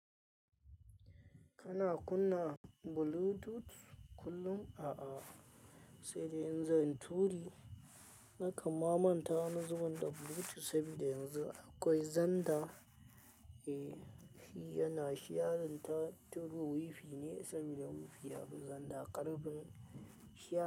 Kana kunna Bluetooth kullum? Aa saidai inzanyi turi nakan ma manta wani zubin da Bluetooth sabida yanzu akwai xender e, shi yana shiarin ta ta through WiFi ne saboda WiFi yafi zanda ƙarfin shiya.